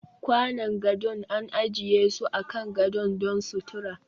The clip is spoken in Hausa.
Kwanan gado an ajiye su akan gadon don sutura